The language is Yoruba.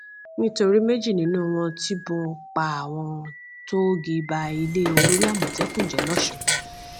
nítorí méjì nínú wọn tibọn pa àwọn tóógi ba ilé olórí àmọtẹkùn jẹ lọsùn